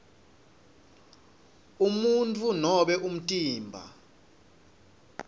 umuntfu nobe umtimba